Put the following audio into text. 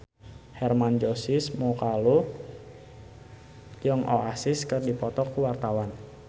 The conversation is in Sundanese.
Hermann Josis Mokalu jeung Oasis keur dipoto ku wartawan